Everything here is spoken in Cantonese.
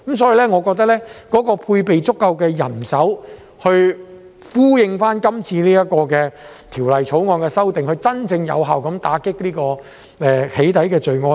所以，我覺得要配備足夠人手以呼應今次《條例草案》的修訂，真正有效打擊"起底"罪案。